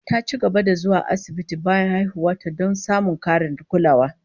Ta ci gaba da zuwa asibitin bayan haihuwar ta, don samun karin kulawa